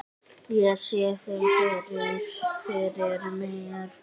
Ég sé þig fyrir mér.